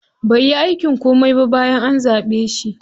Bai yi aikin komai ba bayan an zaɓe shi.